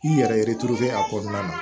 K'i yɛrɛ tuuru a kɔnɔna na